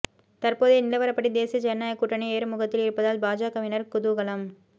தற்போதைய நிலவரப்படி தேசிய ஜனநாயக கூட்டணி ஏறுமுகத்தில் இருப்பதால் பாஜகவினர் குதூகலம்